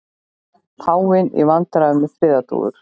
Páfinn í vandræðum með friðardúfur